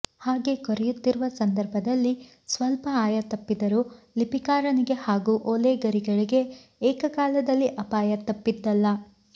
ಹಾಗೆ ಕೊರೆಯುತ್ತಿರುವ ಸಂದರ್ಭದಲ್ಲಿ ಸ್ವಲ್ಪ ಆಯ ತಪ್ಪಿದರೂ ಲಿಪಿಕಾರನಿಗೆ ಹಾಗೂ ಓಲೆಗರಿಗಳಿಗೆ ಏಕಕಾಲದಲ್ಲಿ ಅಪಾಯ ತಪ್ಪಿದ್ದಲ್ಲ